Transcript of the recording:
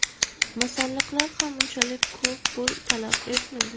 Masalliqlar ham unchalik ko‘p pul talab etmaydi.